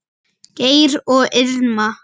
Geir og Irma.